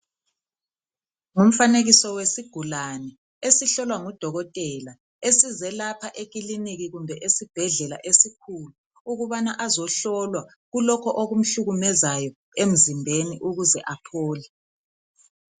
Ngumfanekiso wesigulane esihlolwa ngudokotela esize lapha ekiliniki kumbe esibhedlela esikhulu ukubana ezohlolwa kulokho okumhlukumezayo emzimbeni ukuze aphole.